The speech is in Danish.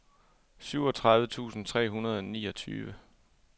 syvogtredive tusind tre hundrede og niogtyve